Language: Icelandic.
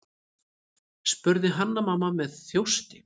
spurði Hanna-Mamma með þjósti.